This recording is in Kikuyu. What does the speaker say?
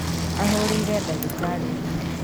Ahũrĩire ndagĩtarĩ thimũ